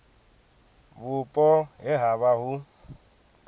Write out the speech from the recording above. vhupo he ha vha hu